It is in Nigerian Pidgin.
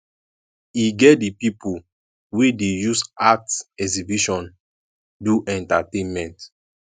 e get di pipo wey dey use art exhibition do entertainment